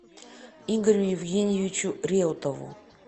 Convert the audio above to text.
игорю евгеньевичу реутову